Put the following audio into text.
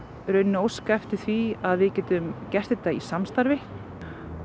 óska eftir því að við getum gert þetta í samstarfi og